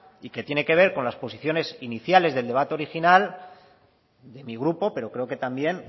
y que tiene que ver con las posiciones iniciales del debate original de mi grupo pero creo que también